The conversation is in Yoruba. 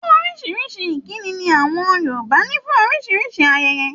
Orísìírísìí ìkíni ni àwọn Yorùbá ní fún oríṣiríṣi ayẹyẹ.